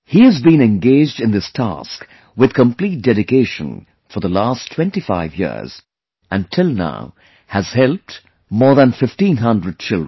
He has been engaged in this task with complete dedication for the last 25 years and till now has helped more than 1500 children